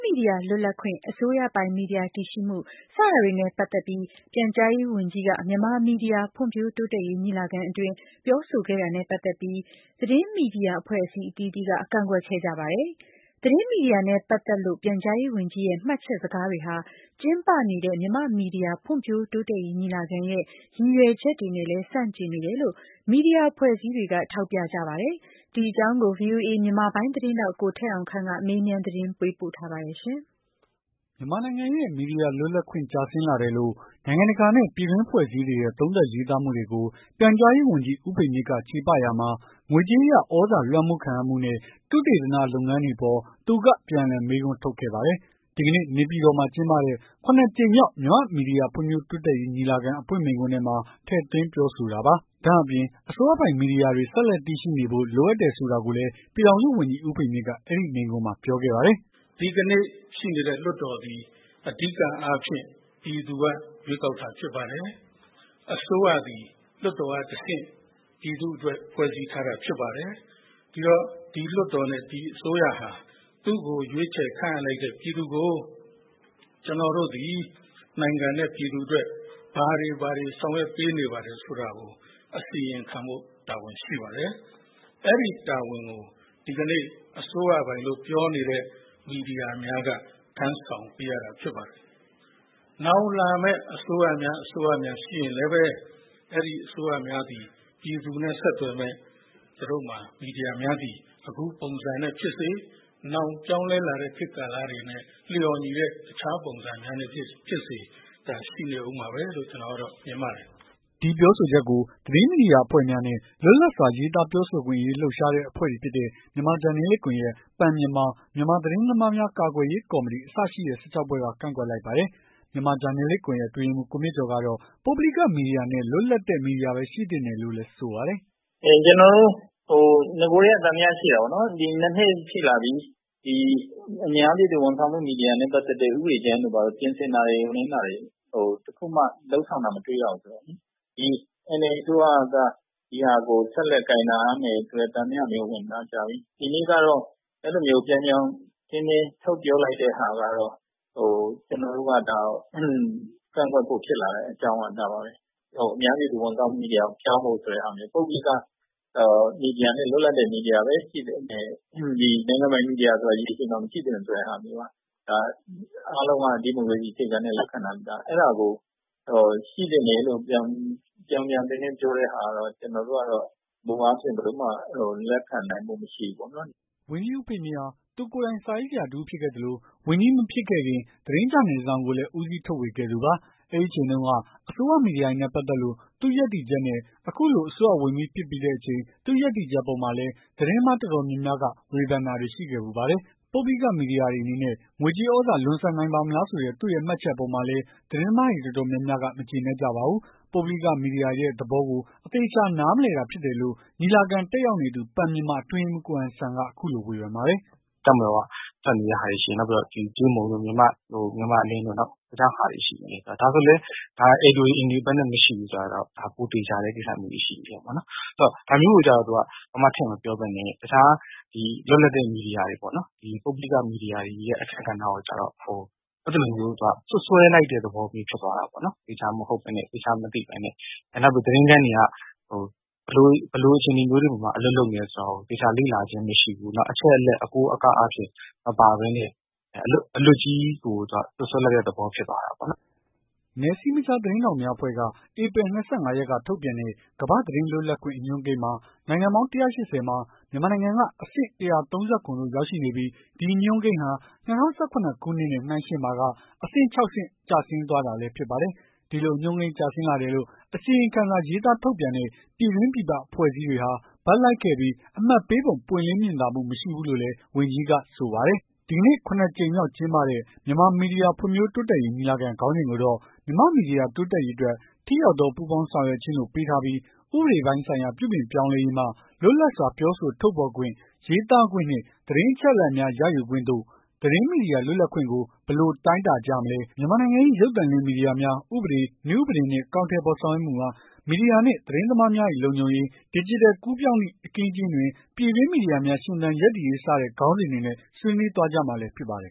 မီဒီယာလွတ်လပ်ခွင့်၊ အစိုးရပိုင်မီဒီယာတည်ရှိမှု စတာတွေနဲ့ ပတ်သက်ပြီး ပြန်ကြားရေးဝန်ကြီးက မြန်မာမီဒီယာဖွံဖြိုးတိုးတက်ရေးညီလာခံတွင်း ပြောဆိုခဲ့တာနဲ့ပတ်သက်လို့၊ သတင်းမီဒီယာအဖွဲ့အစည်းအသီးသီးက ကန့်ကွက်ခဲ့ကြပါတယ်။ သတင်းမီဒီယာနဲ့ပတ်သက်လို့ ပြန်ကြားရေးဝန်ကြီးရဲ့ မှတ်ချက်စကားတွေဟာ ကျင်းပနေတဲ့ မြန်မာ့မီဒီယာဖွံဖြိုးတိုးတက်ရေးညီလာခံရဲ့ ရည်ရွယ်ချက်တွေနဲ့လည်း ဆန့်ကျင်နေတယ်လို့ မီဒီယာအဖွဲ့အစည်းတွေက ထောက်ပြခဲ့ပါတယ်။ ဒီအကြောင်း ဗွီအိုအေ မြန်မာပိုင်း သတင်းထောက် ကိုထက်အောင်ခန့် က မေးမြန်းသတင်းပေးပို့ ထားပါတယ်။ မြန်မာနိုင်ငံရဲ့ မီဒီယာလွတ်လပ်ခွင့် ကျဆင်းလာတယ်လို့နိုင်ငံတကာ နဲ့ ပြည်တွင်းအဖွဲ့အစည်းတွေရဲ့ သုံးသပ်ရေးသားမှုတွေကို ပြန်ကြားရေးဝန်ကြီး ဦးဖေမြင့်က ချေပရာမှာ ငွေကြေးအရ သြဇာလွမ်းမိုးခံရမှုနဲ့ သုတေသနလုပ်ဆောင်မှုတွေအပေါ် သူက ပြန်လှန်မေးခွန်းထုတ်ခဲ့ပါတယ်။ ဒီကနေ့ နေ့ပြည်တော်မှာ ကျင်းပတဲ့ ၇ ကြိမ်မြောက် မြန်မာမီဒီယာဖွံ့ဖြိုးတိုးတက်ရေး ညီလာခံ အဖွင့်မိန့်ခွန်းထဲမှာ ထည့်သွင်းပြောဆိုတာပါ။ ဒါ့အပြင် အစိုးရပိုင် မီဒီယာတွေ ဆက်လက် တည်ရှိနေဖို့ လိုအပ်တယ်ဆိုတာကိုလည်း ပြည်ထောင်စုဝန်ကြီး ဦးဖေမြင့်က အဲဒီ မိန့်ခွန်းမှာ ပြောခဲ့ပါတယ်။ "ဒီကနေ့ရှိနေတဲ့ လွှတ်တော်သည် အဓိကအားဖြင့် ပြည်သူက ရွေးကောက်တာဖြစ်ပါတယ်။ အစိုးရသည် လွှတ်တော်ကတဆင့် ပြည်သူ့အတွက် ဖွဲ့စည်းထားတာ ဖြစ်ပါတယ်။ ဒီတော့ ဒီလွှတ်တော်နဲ့ ဒီအစိုးရဟာ သူ့ကိုရွေးချယ်ခန့်အပ်လိုက်တဲ့ ပြည်သူကို ကျွန်တော်တို့သည် နိုင်ငံနဲ့ ပြည်သူအတွက် ဘာတွေ ဘာတွေ ဆောင်ရွက်ပေးနေပါတယ်ဆိုတာကို အစီရင်ခံဖို့ တာဝန်ရှိပါတယ်။ အဲ့ဒီ တာဝန်ကို ဒီကနေ့ အစိုးရပိုင်လို့ပြောနေတဲ့ မီဒီယာများက ထမ်းဆောင်ပေးရတာဖြစ်ပါတယ်။ နောင်လာမယ့် အစိုးရများ အစိုးရများရှိရင်လည်းပဲ အဲ့ဒီအစိုးရများသည် ပြည်သူနဲ့ဆက်သွယ်မယ့် သူတို့မှာ မီဒီယာများသည် အခုပုံစံနဲ့ဖြစ်စေ နောင်ပြောင်းလဲလာမယ့် ခေတ်ကာလတွေနဲ့ လျော်ညီတဲ့ အခြားပုံစံများနဲ့ဖြစ်စေ ရှိနေအုံးမှာပဲ လို့ ကျွန်တော်က မြင်ပါတယ်။" ဒီပြောဆိုချက်ကို သတင်းမီဒီယာ အဖွဲ့များနဲ့ လွတ်လပ်စွာရေးသားပြောဆိုခွင့် အရေးလှုပ်ရှားတဲ့ အဖွဲ့ တွေဖြစ်တဲ့ မြန်မာဂျာနယ်လစ်ကွန်ယက် Pen Myanmar မြန်မာ သတင်းသမားများ ကာကွယ်ရေး ကော်မတီ အစရှိတဲ့ ၁၆ ဖွဲ့က ကန့်ကွက်လိုက်ပါတယ်။ မြန်မာဂျာနယ်လစ် ကွန်ယက် အတွင်းရေးမှူး ကိုမြင့်ကျော်ကတော့ ပုဂ္ဂိလိက မီဒီယာနဲ့ လွတ်လပ်တဲ့ မီဒီယာပဲ ရှိသင့်တယ်လို့လည်း ဆိုပါတယ်။ "ကျွန်တော်တို့ နဂိုကတည်းက သံသယရှိတာပေါ့နော်။ ဒီ ၂ နှစ်ရှိလာပြီ အများပြည်သူဝန်ဆာင်မှု မီဒီယာနဲ့ ပတ်သက်တဲ့ ဥပဒေကြမ်းတွေ ပြင်ဆင်တာတွေ တခုမှလုပ်ဆောင်တာမတွေ့ရဘူး။ NLD အစိုးရက ဒီဟာကို ဆက်လက်ကိုင်ထားမယ်ဆိုတဲ့ သံသယမျိုး ဝင်တာကြာပြီ။ ဒီနေ့ကတော့ အဲ့လို ပြောင်ပြောင်တင်းတင်း ထုတ်ပြောလိုက်တဲ့ဟာကတော့ ကျွန်တော်တို့က ဒါကိုကန့်ကွက်ဖို့ ဖြစ်လာတဲ့အကြောင်းက ဒါပါပဲ။ အများပြည်သူ ဝန်ဆောင်မှုဆိုတဲ့ဟာကိုပြောင်းဖို့ ပုဂ္ဂိလိက မီဒီယာနဲ့ လွတ်လပ်တဲ့ မီဒီယာပဲရှိသင့်တယ်။ နိုင်ငံပိုင် မီဒီယာဆိုတာ ဒီအချိန်မှာ မရှိသင့်တော့ဘူးဆိုတဲ့ဟာမျိုးက အားလုံးက ဒီမိုကရေစီအခြေခံတဲ့ လက္ခဏာမျိုး အဲ့ဒါကို ရှိသင့်တယ်လို့ ပြောင်ပြောင်တင်းတင်း ပြောတဲ့ဟာကတော့ မူအားဖြင့် ဘယ်လိုမှ လက်ခံနိုင်ဖို့မရှိဘူးပေါ့။" ဝန်ကြီး ဦးဖေမြင့်ဟာ သူကိုယ်တိုင် စာရေးဆရာတဦးဖြစ်ခဲ့သလို၊ ဝန်ကြီးမဖြစ်ခင်က သတင်းဂျာနယ်တစောင်ကိုလည်း ဦးစီး ထုတ်ဝေခဲ့သူပါ။ အဲဒီအချိန်တုန်းက အစိုးရမီဒီယာတွေနဲ့ပတ်သက်လို့ သူ့ ရပ်တည်ချက်နဲ့ အခုလို အစိုးရဝန်ကြီးဖြစ်တဲ့အချိန် သူ့ရပ်တည်ချက်အပေါ်မှာလည်း သတင်းသမား အတော်မာျးများ က ဝေဖန်တာတွေရှိခဲ့ဖူးပါတယ်။ ပုဂ္ဂိလိကမီဒီယာတွေအနေနဲ့ ငွေကြေးသြဇာ လွန်ဆန်နိုင်ပါ့မလားဆိုတဲ့ သူ့ရဲ့ မှတ်ချက်အပေါ်မှာလည်း သတင်းသမားတွေအတော်များများက မကျေနပ်ကြပါဘူး။ ပုဂ္ဂိလိကမီဒီယာတွေရဲ့ သဘောကို အသေအချာ နားမလည်တာဖြစ်တယ်လို့ ညီလာခံ တတ်ရောက်နေသူ Pen Myanmar အတွင်းရေးမှုး ကိုဟန်ဆန်က အခုလို ဝေဖန်ပါတယ်။ " တပ်မတော်က ထွက်နေတဲ့ဟာတွေရှိတယ်။ နောက်ပြီးတော့ ကြေးမုံတို့ မြန်မာ့အလင်းတို့ နောက် တခြားဟာ တွေရှိသေးတယ်။ ဒါဆိုရင်လည်း Editorial Independence မရှိဘူးဆိုတာ ပိုသေချာတဲ့ ကိစ္စမျိုး။ ဆိုတော့ ဒါမျိုးကိုကျ သူကဘာမှ ထည့်မပြောသွားပဲနဲ့ တခြားလွတ်လပ်တဲ့ မီဒီယာတွေပေါ့နော်။ ပုဂ္ဂိလိက မီဒီယာတွေရဲ့ အခန်းကဏ္ဍကိုကျတော့ အဲ့သလိုမျိုး စွပ်စွဲလိုက်တဲ့ သဘောမျိုး ဖြစ်သွားတာပေါ့။ သေချာမဟုတ်ဘဲနဲ့ သေချာ မသိဘဲနဲ့ နောက်ပြီး သတင်းခန်းတွေက ဘယ်လိုအခြေအနေမျိုးတွေမှာ အလုပ်လုပ်နေတယ်ဆိုတာကို သေချာ လေ့လာခြင်းမရှိဘူး။ နောက်အချက်အလက် အကိုးအကားအားဖြင့် မပါဘဲနဲ့ အလွတ်ကြီးကို စွပ်စွဲလိုက်တဲ့ သဘော ဖြစ်သွားတာပေါ့နော်။" နယ်စည်းမခြား သတင်းထောက်များအဖွဲ့ က ဧပြီ ၂၅ ရက်က ထုတ်ပြန်တဲ့ ကမ္ဘာ့သတင်းလွတ်လပ်ခွင့် အညွှန်းကိန်းမှာ နိုင်ငံပေါင်း ၁၈၀ မှာ မြန်မာနိုင်ငံက အဆင့် ၁၃၇ သို့ရောက်ရှိနေပြီး ဒီ အညွှန်းကိန်းဟာ ၂၀၁၇ ခုနှစ်နှင့် နှိုင်းယှဉ်ပါက အဆင့် ခြောက်ဆင့် ကျဆင်းသွားလည်း ဖြစ်ပါတယ်။ ဒီလို အညွှန်းကိန်းကျဆင်းလာတယ်လို့ အစီရင်ခံစာ ရေးသားထုတ်ပြန်တဲ့ ပြည်တွင်း ပြည်ပ အဖွဲ့အစည်း တွေဟာ ဘက်လိုက်ခဲ့ပြီး အမှတ်ပေးပုံ ပွင့်လင်းမြင်သာမှု မရှိဘူးလို့လည်း ဝန်ကြီးကဆိုပါတယ်။ ဒီကနေ့ ၇ ကြိမ်မြောက် ကျင်းပတဲ့ မြန်မာမီဒီယာ ဖွံ့ဖြိုး တိုးတက်ရေး ညီလာခံ ခေါင်းစဉ်ကိုတော့ မြန်မာ့ မီဒီယာ တိုးတက်ရေးအတွက် ထိရောက်သော ပူးပေါင်းဆောင်ရွက်ခြင်း လို့ ပေးထားပြီး ဥပဒေပိုင်းဆိုင်ရာ ပြုပြင် ပြောင်းလဲရေးမှ လွတ်လပ်စွာ ပြောဆို ထုတ်ဖော် ရေးသားခွင့်နှင့်သတင်း အချက်အလက်များ ရယူ ခွင့်သို့၊ သတင်း မီဒီယာ လွတ်လပ်ခွင့်ကို ဘယ်လို တိုင်းတာကြမလဲ၊ မြန်မာနိုင်ငံ၏ ရုပ်သံလွှင့် မီဒီယာများ၊ ဥပဒေ၊ နည်းဥပဒေနှင့် အကောင်အထည်ဖော် ဆောင်ရွက်မှုများ၊ မီဒီယာနှင့် သတင်း သမား များ၏ လုံခြုံရေး၊ ဒီဂျစ်တယ် ကူးပြောင်းသည့် အခင်းအကျင်းတွင် ပြည်တွင်း မီဒီယာများ ရှင်သန် ရပ်တည်ရေး စတဲ့ ခေါင်းစဉ်တွေနဲ့ ဆွေးနွေး သွားကြမှာလည်း ဖြစ်ပါတယ်